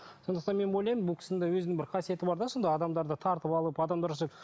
сондықтан мен ойлаймын бұл кісінің де өзінің бір қасиеті бар да сондай адамдарды тартып алып адамдар